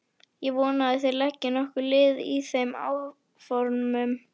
Ég vona að þér leggið okkur lið í þeim áformum.